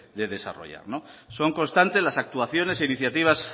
de desarrollar son constantes las actuaciones e iniciativas